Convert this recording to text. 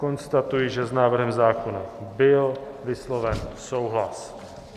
Konstatuji, že s návrhem zákona byl vysloven souhlas.